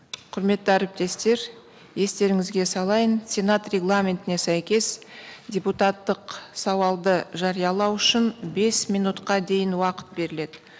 құрметті әріптестер естеріңізге салайын сенат регламентіне сәйкес депутаттық сауалды жариялау үшін бес минутқа дейін уақыт беріледі